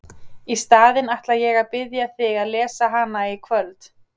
Í staðinn ætla ég að biðja þig að lesa hana í kvöld!